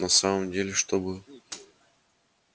на самом деле чтобы